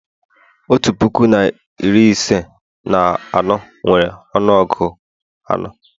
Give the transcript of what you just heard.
otu puku na iri ise na anọ nwere ọnụọgụ anọ